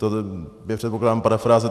To je, předpokládám, parafráze.